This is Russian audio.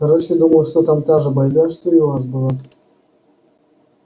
короче думаю что там та же байда что и у вас было